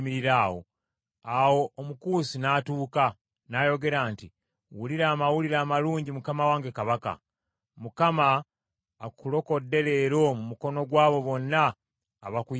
Awo Omukusi n’atuuka, n’ayogera nti, “Wulira amawulire amalungi mukama wange kabaka. Mukama akulokodde leero mu mukono gw’abo bonna abakuyimukiramu.”